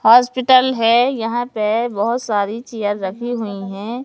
Hospital है यहां पे बहोत सारी चेयर रखी हुई है।